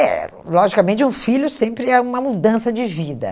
É, logicamente, um filho sempre é uma mudança de vida.